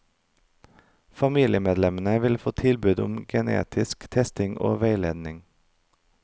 Familiemedlemmene vil få tilbud om genetisk testing og veiledning.